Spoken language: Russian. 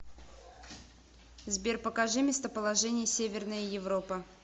сбер покажи местоположение северная европа